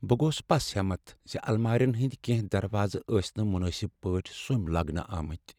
بہٕ گوس پس ہمت زِ المارین ہٕنٛدِ کیٚنٛہہ دروازٕ ٲسۍ نہٕ مناسب پٲٹھۍ سوٚم لاگنہ آمتۍ۔